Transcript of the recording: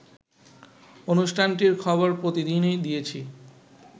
অনুষ্ঠানটির খবর প্রতিদিনই দিয়েছি